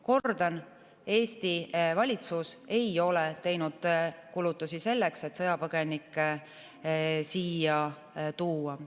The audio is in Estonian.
Kordan: Eesti valitsus ei ole teinud kulutusi selleks, et sõjapõgenikke siia tuua.